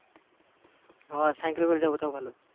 হ্যাঁ সাইকেলে করে যাবো তাও ভালো।